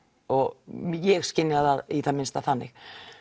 og ég skynjaði það í það minnsta þannig